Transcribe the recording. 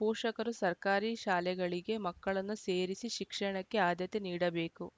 ಪೋಷಕರು ಸರ್ಕಾರಿ ಶಾಲೆಗಳಿಗೆ ಮಕ್ಕಳನ್ನು ಸೇರಿಸಿ ಶಿಕ್ಷಣಕ್ಕೆ ಆದ್ಯತೆ ನೀಡಬೇಕು